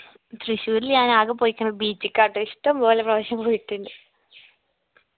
തൃശ്ശൂര്ൽ ഞാൻ ആക പോയിക്കണത് beach ക്കാട്ടോ ഇഷ്ട്ടം പോലെ പ്രാവിശ്യം പോയിട്ടുണ്ട്